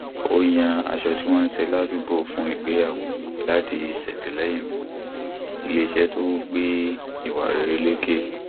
ó yan aṣọ tí wọn ṣe ládùúgbò fún ìgbéyàwó láti ṣètìlẹyìn fún iléeṣẹ tó gbé ìwà rere lékè